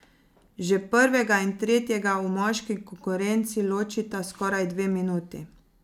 Že prvega in tretjega v moški konkurenci ločita skoraj dve minuti.